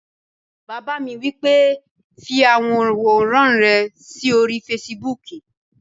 Bàbá mi wí pé "fi àwọn àwòrán rẹ sí orí fesibúùkù!"